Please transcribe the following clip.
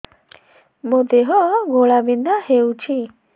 ମୋ ଦେହ ଘୋଳାବିନ୍ଧା ହେଉଛି